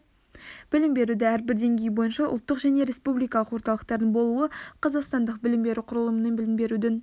білім берудің әрбір деңгейі бойынша ұлттық және республикалық орталықтардың болуы қазақстандық білім беру құрылымының білім берудің